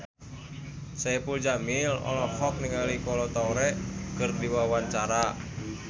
Saipul Jamil olohok ningali Kolo Taure keur diwawancara